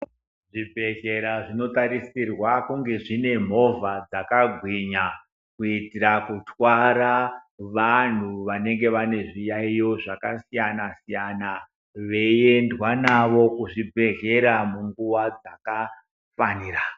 Zvibhedhlera zvinotarisirwa kunge zvine movha dzakagwinya. Kuitira kutwara vantu vanenge vane zviyaiyo zvakasiyana-siyana. Veiendwa navo kuzvibhedhlera munguva dzakafanira.